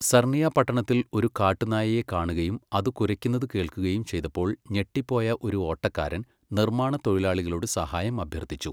Sarnia പട്ടണത്തിൽ ഒരു കാട്ടുനായയെ കാണുകയും അത് കുരയ്ക്കുന്നത് കേൾക്കുകയും ചെയ്തപ്പോൾ ഞെട്ടിപ്പോയ ഒരു ഓട്ടക്കാരൻ നിർമ്മാണ തൊഴിലാളികളോട് സഹായം അഭ്യർത്ഥിച്ചു.